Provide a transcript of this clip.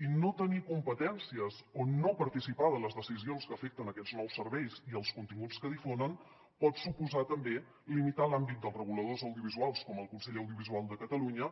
i no tenir competències o no participar de les decisions que afecten aquests nous serveis i els continguts que di·fonen pot suposar també limitar l’àmbit dels reguladors audiovisuals com el consell de l’audiovisual de catalunya